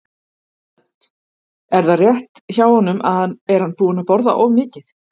Hödd: Er það rétt hjá honum, er hann búinn að borða of mikið?